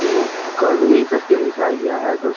यहाँ करनी कर के लिखाया गाया है दोस्त --